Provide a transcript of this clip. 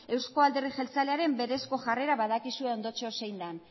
euzko alderdi jeltzalearen berezko jarrera badakizue ondotxo zein den